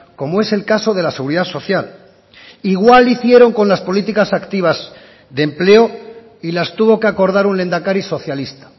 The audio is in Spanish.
como es el caso de la seguridad social igual hicieron con las políticas activas de empleo y las tuvo que acordar un lehendakari socialista